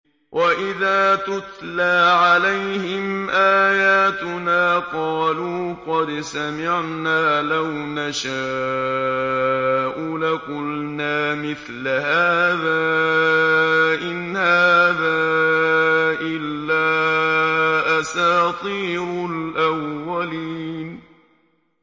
وَإِذَا تُتْلَىٰ عَلَيْهِمْ آيَاتُنَا قَالُوا قَدْ سَمِعْنَا لَوْ نَشَاءُ لَقُلْنَا مِثْلَ هَٰذَا ۙ إِنْ هَٰذَا إِلَّا أَسَاطِيرُ الْأَوَّلِينَ